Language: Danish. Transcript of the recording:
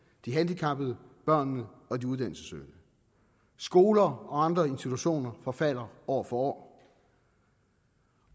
de handicappede børnene og de uddannelsessøgende skoler og andre institutioner forfalder år for år